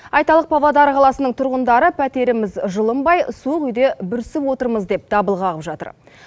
айтарлық павлодар қаласының тұрғындары пәтеріміз жылынбай суық үйде бүрісіп отырмыз деп дабыл қағып жатыр